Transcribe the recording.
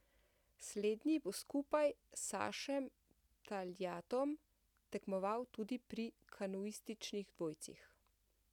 Slednji bo skupaj s Sašem Taljatom tekmoval tudi pri kanuističnih dvojcih.